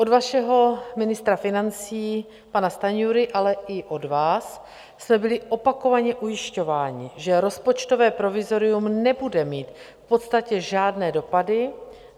Od vašeho ministra financí pana Stanjury, ale i od vás jsme byli opakovaně ujišťováni, že rozpočtové provizorium nebude mít v podstatě žádné dopady.